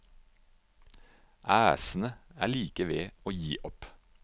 Æsene er like ved å gi opp.